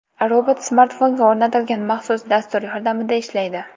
Robot smartfonga o‘rnatilgan maxsus dastur yordamida ishlaydi.